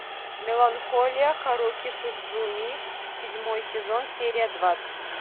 меланхолия харуки судзуми седьмой сезон серия двадцать